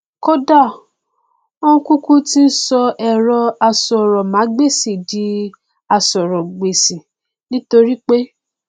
kódà ó kúkú ti sọ ẹrọ asọrọmágbèsì di asọrọgbèsì nítorí pé